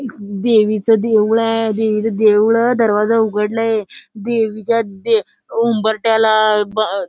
एक देवीचं देऊळ आहे देवीच देऊळ अ दरवाजा उघडलय देवीच्या द उंबरठ्याला अ --